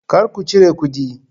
Kar ku cire kudi!